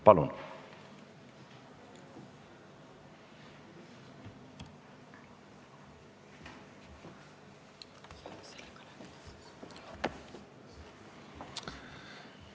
Palun!